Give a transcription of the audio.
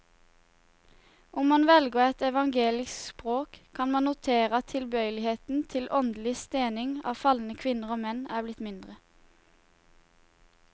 Om man velger et evangelisk språk, kan man notere at tilbøyeligheten til åndelig stening av falne kvinner og menn er blitt mindre.